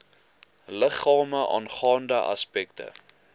liggame aangaande aspekte